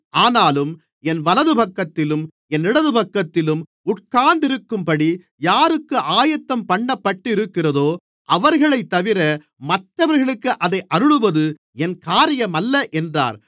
ஆனாலும் என் வலதுபக்கத்திலும் என் இடதுபக்கத்திலும் உட்கார்ந்திருக்கும்படி யாருக்கு ஆயத்தம்பண்ணப்பட்டிருக்கிறதோ அவர்களைத்தவிர மற்றவர்களுக்கு அதை அருளுவது என் காரியமல்ல என்றார்